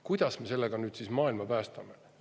Kuidas me sellega siis maailma päästame?